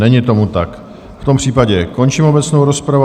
Není tomu tak, v tom případě končím obecnou rozpravu.